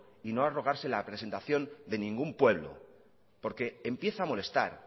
y no arrogarse la presentación de ningún pueblo porque empieza a molestar